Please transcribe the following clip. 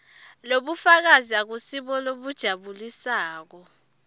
lobufakazi abusibo lobujabulisako